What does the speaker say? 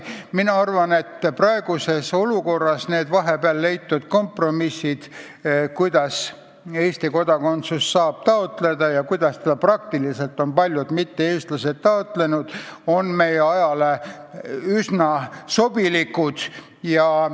Mina arvan, et vahepeal leitud kompromissid, kuidas Eesti kodakondsust saab taotleda ja kuidas paljud mitte-eestlased ongi seda taotlenud, on meie ajale üsna sobilikud.